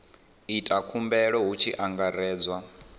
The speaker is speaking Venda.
ita khumbelo hu tshi angaredzwa